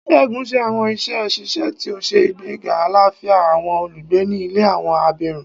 Segun ṣe awọn iṣẹ ṣiṣe ti o ṣe igbega alafia awọn olugbe ni ile awọn abirun